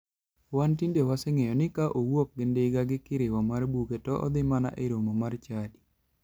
Wan tinde waseng'eyo ni ka owuok gi ndiga gi kirowo mar buge to odhi mana e romo mar chadi.